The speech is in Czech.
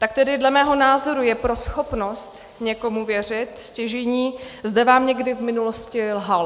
Tak tedy dle mého názoru je pro schopnost někomu věřit stěžejní, zda vám někdy v minulosti lhal.